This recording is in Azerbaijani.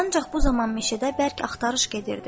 Ancaq bu zaman meşədə bərk axtarış gedirdi.